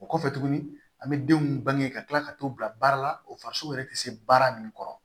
O kɔfɛ tuguni an bɛ denw bange ka tila ka t'u bila baara la o farisoko yɛrɛ tɛ se baara min kɔrɔ